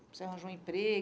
Você arranjou um